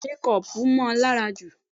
Bẹ́ẹ̀ni o, mékọpù mọ́ọ lára jù.